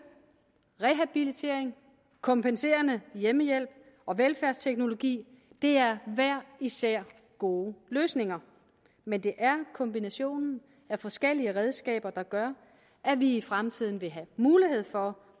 rehabilitering kompenserende hjemmehjælp og velfærdsteknologi er hver især gode løsninger men det er kombinationen af forskellige redskaber der gør at vi i fremtiden vil have mulighed for